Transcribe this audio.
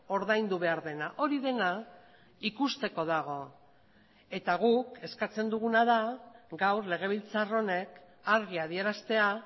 ordaindu behar dena hori dena ikusteko dago eta guk eskatzen duguna da gaur legebiltzar honek argi adieraztea